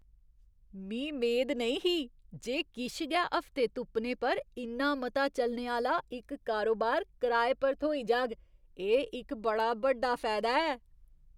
मी मेद नेईं ही जे किश गै हफ्ते तुप्पने पर इन्ना मता चलने आह्‌ला इक कारोबार कराए पर थ्होई जाग एह् इक बड़ा बड्डा फायदा ऐ।